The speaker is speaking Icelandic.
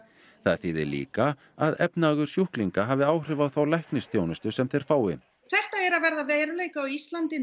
það þýði líka að efnahagur sjúklinga hafi áhrif á þá læknisþjónustu sem þeir fái þetta er að verða að veruleika á Íslandi